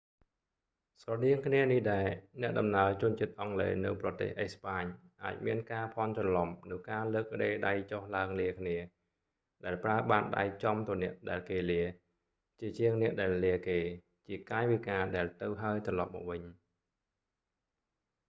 ស្រដៀងគ្នានេះដែរ អ្នកដំណើរជនជាតិអង់គ្លេសនៅប្រទេសអេស្ប៉ាញអាចមានការភាន់ច្រឡំនូវការលើករេដៃចុះឡើងលាគ្នា ដែលប្រើបាតដៃចំទៅអ្នកដែលគេលា ជាជាងអ្នកដែលលាគេ ជាកាយវិការដែលទៅហើយត្រឡប់មកវិញ